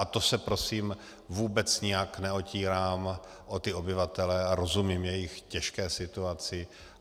A to se prosím vůbec nijak neotírám o ty obyvatele a rozumím jejich těžké situaci.